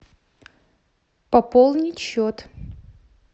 пополнить счет